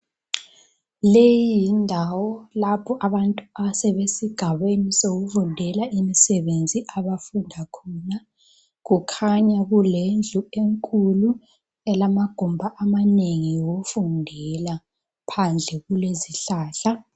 Leyi yindawo lapho abantu asebesigabeni sokufundela imisebenzi abafunda khona, kukhanya kulendlu enkulu elamagumbi amanengi okufundela, phandle kulezihlahla